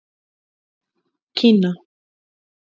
Kína